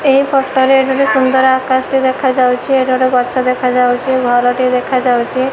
ଏହି ଫଟୋ ରେ ଏଠି ଗୋଟେ ସୁନ୍ଦର ଆକାଶ ଟି ଦେଖା ଯାଉଚି। ଏଇଟା ଗୋଟେ ଗଛ ଦେଖାଯାଉଚି ଘର ଟି ଦେଖା ଯାଉଚି।